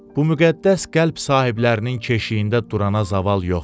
Bu müqəddəs qəlb sahiblərinin keşiyində durana zaval yoxdu.